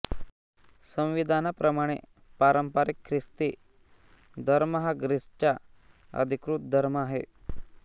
संविधानाप्रमाणे पारंपारिक ख्रिस्ती धर्म हा ग्रीसचा अधिकृत धर्म आहे